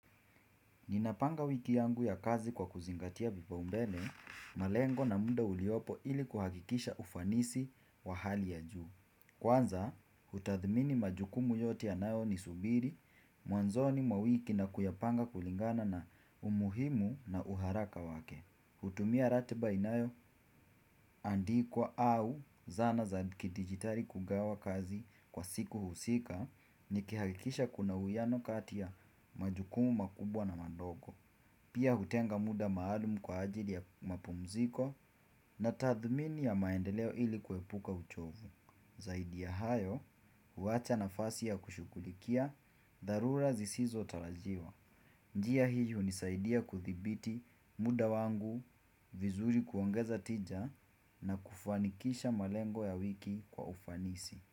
Ninapanga wiki yangu ya kazi kwa kuzingatia vipau mbele, malengo na muda uliopo ili kuhakikisha ufanisi wa hali ya juu. Kwanza, utathmini majukumu yote ya nayo ni subiri, mwanzoni mwa wiki na kuyapanga kulingana na umuhimu na uharaka wake. Hutumia ratiba inayo, andikwa au zana za kidijitali kugawa kazi kwa siku husika, nikihakikisha kuna uhuwiano kati ya majukumu makubwa na madogo. Pia hutenga muda maalumu kwa ajili ya mapumziko na tathmini ya maendeleo ili kuepuka uchovu. Zaidi ya hayo, huwacha nafasi ya kushughulikia, dharura zisizo tarajiwa. Njia hii hunisaidia kuthibiti muda wangu, vizuri kuongeza tija na kufanikisha malengo ya wiki kwa ufanisi.